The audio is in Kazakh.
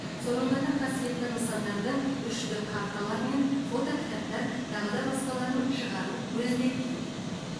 сонымен қатар қасиетті нысандардың үш д карталары мен фотокітаптар тағы да басқаларын шығару көзделген